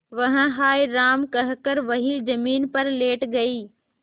वह हाय राम कहकर वहीं जमीन पर लेट गई